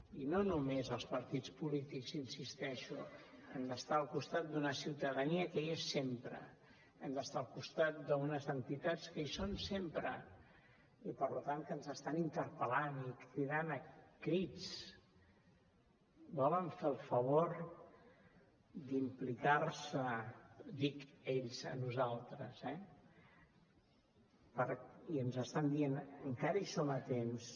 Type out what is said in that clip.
i no només els partits polítics hi insisteixo hem d’estar al costat d’una ciutadania que hi és sempre hem d’estar al costat d’unes entitats que hi són sempre i per tant que ens estan interpel·lant i cridant a crits volen fer el favor d’implicar se dic ells a nosaltres eh i ens estan dient encara hi som a temps